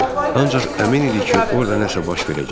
Ancaq əmin idi ki, orda nəsə baş verəcək.